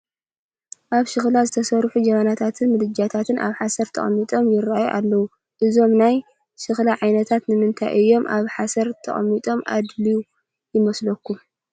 ካብ ሸኽላ ዝተሰርሑ ጀበናታትን ምድጃታትን ኣብ ሓሰር ተቐሚጦም ይርአዩ ኣለዉ፡፡ እዞም ናይ ሸኽላ ዓይነታት ንምንታይ እዮም ኣብ ሓሰር ክቕመጡ ኣድልዩ ይመስለኩም?